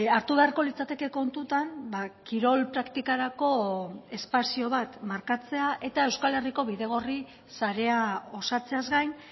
hartu beharko litzateke kontutan kirol praktikarako espazio bat markatzea eta euskal herriko bidegorri sarea osatzeaz gain